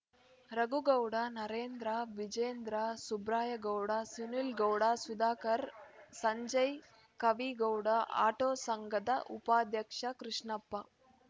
Raghu Gowda Narendra Vijendra Subraya Gowda Sunil Gowda Sudhakar Sanjay Kavi Gowda auto ಸಂಘದ ಉಪಾಧ್ಯಕ್ಷ ಕೃಷ್ಣಪ್ಪ